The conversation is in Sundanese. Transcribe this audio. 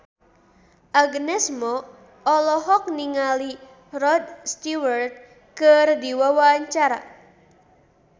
Agnes Mo olohok ningali Rod Stewart keur diwawancara